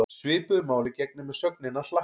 Svipuðu máli gegnir með sögnina hlakka.